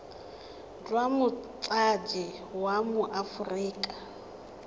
jwa motsadi wa mo aforika